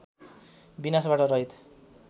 विनाशबाट रहित